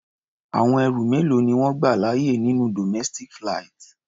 Àwọn ẹrù mélòó ni wọ́n gbà láàyè nínú domestic flight?